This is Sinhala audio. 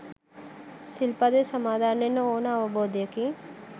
සිල්පදය සමාදන් වෙන්න ඕන අවබෝධයකින්